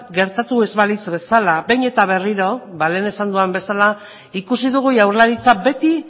gertatu ez balitz bezala behin eta berriro lehen esan dudan bezala ikusi dugu jaurlaritza beti